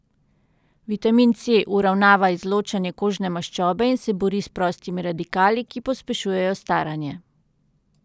Vitamin C uravnava izločanje kožne maščobe in se bori s prostimi radikali, ki pospešujejo staranje.